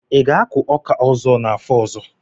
Ị ga-akụ ọka ọzọ n'afọ ọzọ?